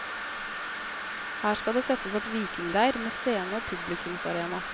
Her skal det settes opp vikingleir, med scene og publikumsarena.